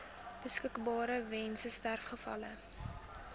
beskikbaar weens sterfgevalle